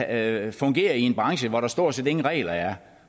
at fungere i en branche hvor der stort set ingen regler er